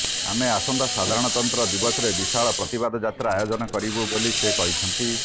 ଆମେ ଆସନ୍ତା ସାଧାରଣତନ୍ତ୍ର ଦିବସରେ ବିଶାଳ ପ୍ରତିବାଦ ଯାତ୍ରା ଆୟୋଜନ କରିବୁ ବୋଲି ସେ କହିଛନ୍ତି